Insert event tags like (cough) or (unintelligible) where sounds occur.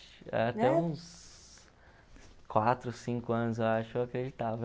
(unintelligible) até uns quatro, cinco anos, eu acho, eu acreditava.